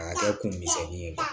A y'a kɛ kun misɛnnin ye